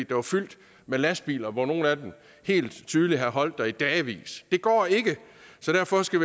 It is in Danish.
der var fyldt med lastbiler hvoraf nogle af dem helt tydeligt havde holdt der i dagevis det går ikke så derfor skal